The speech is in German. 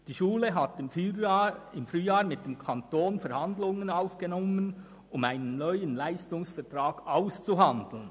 Die Schule hat im Frühjahr mit dem Kanton Verhandlungen für einen neuen Leistungsauftrag aufgenommen.